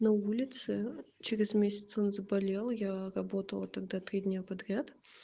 на улице через месяц он заболел я работала тогда три дня подряд